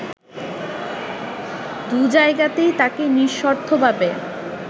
দুজায়গাতেই তাকে নিঃশর্তভাবে